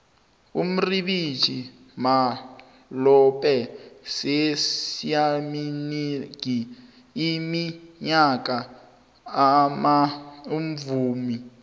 uribeccah malope seleiminengi iminyaka amuvumi